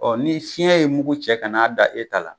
Ɔ ni fiɲɛ ye mugu cɛ ka n'a da e ta la